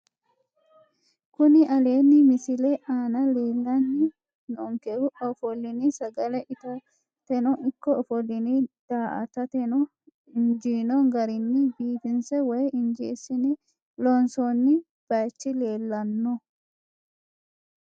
Kuni aleenni misile aana leellanni noonkehu ofolline sagale itateno ikko ofolline daa"atateno injiino garinni biifinse woyi injeessine loonsoonni baychi leellanno